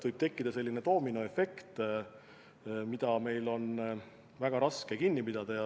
Võib tekkida doominoefekt, mida meil on väga raske katkestada.